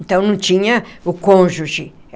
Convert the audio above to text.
Então, não tinha o cônjuge.